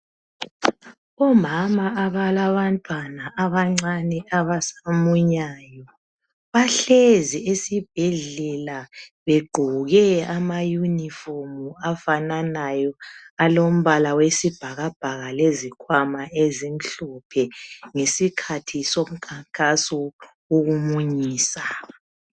Omama abalabantwana abancane abasamunyayo bahlezi esibhedlela begqoke amayunifomu afananayo alombala wesibhakabhaka lezikhwama ezimhlophe ngesikhathi somkhankaso wokumunyisa.